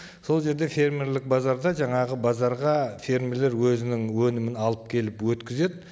сол жерде фермерлік базарда жаңағы базарға фермерлер өзінің өнімін алып келіп өткізеді